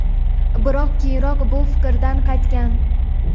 biroq keyinroq bu fikrdan qaytgan.